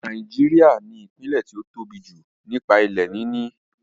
Náíjà ní ìpínlẹ̀ tí ó tóbi jù nípa ilẹ̀ níní